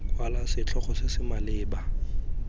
kwala setlhogo se se maleba